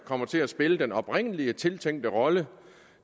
kommer til at spille den oprindeligt tiltænkte rolle